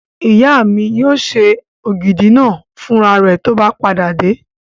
Ìyá mi yóò ṣe ògidì náà fún ra rẹ̀ tó bá padà dé